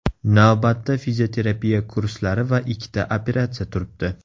Navbatda fizioterapiya kurslari va ikkita operatsiya turibdi.